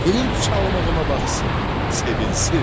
Qılınc çalmağıma baxsın, sevinsin.